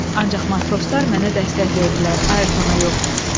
Ancaq matroslar mənə dəstək verdilər, Ayrtona yox.